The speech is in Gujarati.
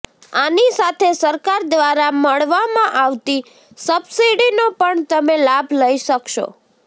આની સાથે સરકાર દ્વારા મળવામાં આવતી સબસીડીનો પણ તમે લાભ લઇ શકશો